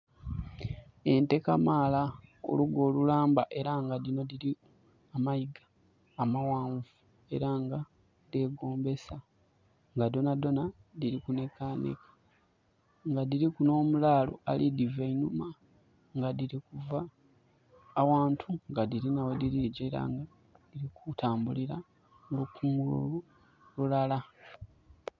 Ente kamaala olugwo olulamba era nga dino diriku amayiga amawanvu era nga dhegombesa nga dhonadhona diri kunekaneka nga diriku no mulaalo ali diva einhuma nga diri kuva awantu nga dhirina wediri gyira mukutambulira mu lukunguliro lulala